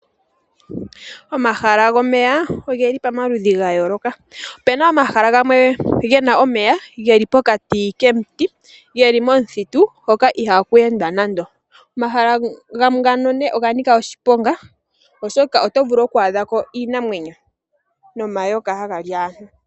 Omahala gomeya oge li pomaludhi gayooloka opu na omahala gamwe ge na omeya geli pokati komiti geli momuthitu hoka ihaku endwa nande. Omahala gamwe ngano oga nika oshiponga oshoka oto vulu oku adha ko iinamwenyo nomayoka haga li aantu.